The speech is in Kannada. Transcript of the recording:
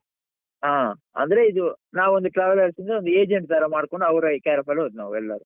ಆ ಅಂದ್ರೆ ಇದು ನಾವೊಂದು travelers ಇಂದ ಒಂದು agent ತರ ಮಾಡ್ಕೊಂಡು ಅವ್ರ care off ಅಲ್ಲಿ ಹೋದದ್ದು ನಾವ್ ಎಲ್ಲರು.